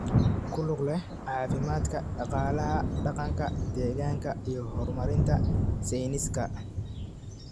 ku lug leh caafimaadka, dhaqaalaha, dhaqanka, deegaanka, iyo horumarinta sayniska.